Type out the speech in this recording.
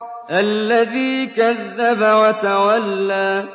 الَّذِي كَذَّبَ وَتَوَلَّىٰ